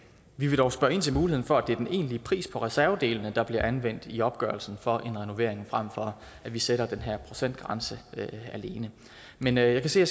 vi vil dog spørge ind til muligheden for at det er den egentlige pris på reservedelene der bliver anvendt i opgørelsen for en renovering frem for at vi sætter den her procentgrænse alene men jeg kan se at